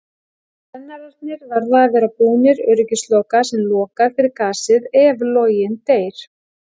Brennararnir verða að vera búnir öryggisloka sem lokar fyrir gasið ef loginn deyr.